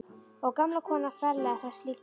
Og gamla konan ferlega hress líka.